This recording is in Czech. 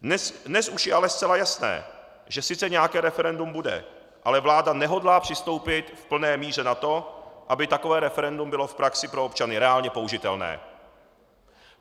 Dnes už je ale zcela jasné, že sice nějaké referendum bude, ale vláda nehodlá přistoupit v plné míře na to, aby takové referendum bylo v praxi pro občany reálně použitelné.